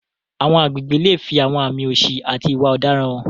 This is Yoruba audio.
Àwọn agbègbè lè fi àwọn àmì òṣì àti ìwà ọ̀daràn hàn.